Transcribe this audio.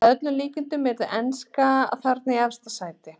Að öllum líkindum yrði enska þarna í efsta sæti.